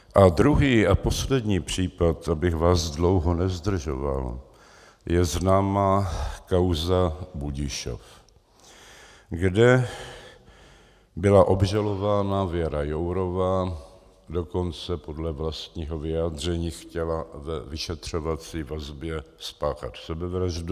A druhý a poslední případ, abych vás dlouho nezdržoval, je známá kauza Budišov, kde byla obžalována Věra Jourová, dokonce podle vlastního vyjádření chtěla ve vyšetřovací vazbě spáchat sebevraždu.